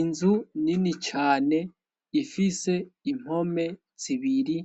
inzu nini cyane ifise impome zibiri